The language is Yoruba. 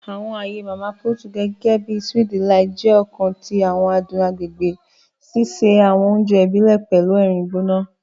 Àwọn aaye Mama Put, gẹgẹbi Sweet Delight, jẹ ọkan ti àwọn adun agbegbe, ṣiṣe awọn oúnjẹ ibile pẹlu ẹrin gbona.